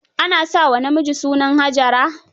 Ana sa wa namiji sunan Hajara?